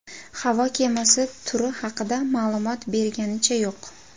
Havo kemasi turi haqida ma’lumot berilganicha yo‘q.